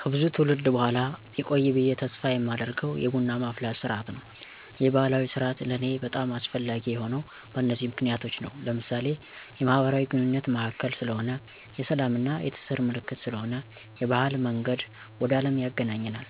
ከብዙ ትውልድ በኋላ ቢቆይ ብየ ተስፍ የማደርገው የቡና ማፍላት ስርዓት ነው። ይህ ባህላዊ ስርአት ለኔ በጣም አስፈላጊ የሆነው በነዚህ ምክንያቶች ነው። ለምሳሌ፦ የማህበራዊ ግንኙነት ማዕከል ስለሆነ፣ የስላም እና የትስስር ምልክት ስለሆነ፣ የባህል መንገድ ወደ አለም ያግናኘናል፣